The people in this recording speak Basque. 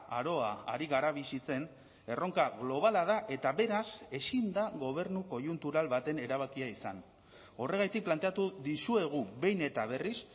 aroa ari gara bizitzen erronka globala da eta beraz ezin da gobernu koiuntural baten erabakia izan horregatik planteatu dizuegu behin eta berriz